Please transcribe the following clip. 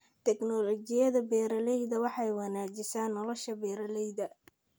Tignoolajiyada beeralayda waxay wanaajisaa nolosha beeralayda.